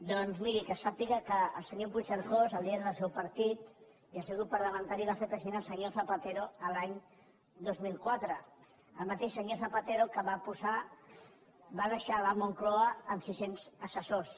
doncs miri sàpiga que el senyor puigcercós el líder del seu partit i el seu grup parlamentari va fer president el senyor zapatero l’any dos mil quatre el mateix senyor zapatero que va deixar la moncloa amb sis cents assessors